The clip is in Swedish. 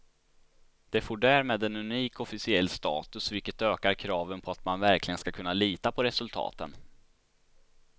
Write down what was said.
Det får därmed en unik officiell status, vilket ökar kraven på att man verkligen ska kunna lita på resultaten.